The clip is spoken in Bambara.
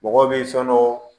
Mɔgɔw bɛ soɔnɔ